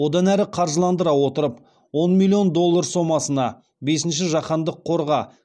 одан әрі қаржыландыра отырып он миллион доллар сомасына бесінші жаһандық қорға